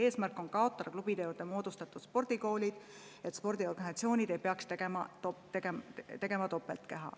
Eesmärk on klubide juurde moodustatud spordikoolid kaotada, et spordiorganisatsioonid ei peaks tegema kaht keha.